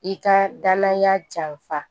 I ka danaya janfa